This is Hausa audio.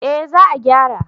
Eh za a gyara